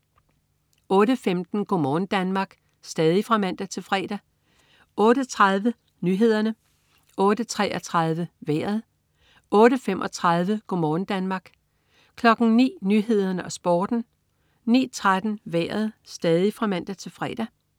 08.15 Go' morgen Danmark (man-fre) 08.30 Nyhederne (man-fre) 08.33 Vejret (man-fre) 08.35 Go' morgen Danmark (man-fre) 09.00 Nyhederne og Sporten (man-fre) 09.13 Vejret (man-fre)